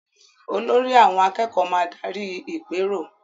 Olórí àwọn akẹ́kọ̀ọ́ máa darí ìpérò